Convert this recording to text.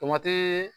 Tomati